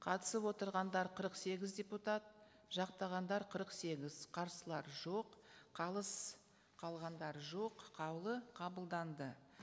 қатысып отырғандар қырық сегіз депутат жақтағандар қырық сегіз қарсылар жоқ қалыс қалғандар жоқ қаулы қабылданды